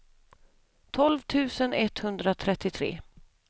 tolv tusen etthundratrettiotre